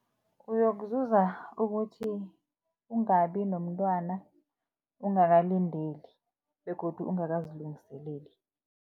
Uyokuzuza ukuthi ungabi nomntwana ungakalindeli begodu ungakazilungiseleli.